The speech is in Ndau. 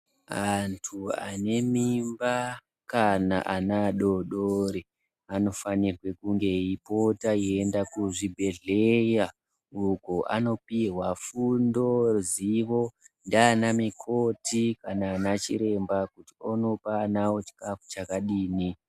Antu ane mimba kana ana adodori anofanira kunge eipota kuenda kuzvibhedhlera uko anenge achipihwa fundo nana mukoti kana madhokodheya kuti anopa vana vavo fundo yakadini.